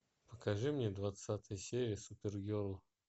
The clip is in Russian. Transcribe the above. покажи мне двадцатая серия супергерл